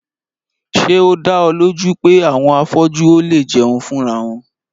Ṣé o dá ọ lójú pé àwọn afọ́jú ò léè jẹun fúnra wọn?